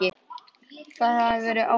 Það hafði verið ætlun van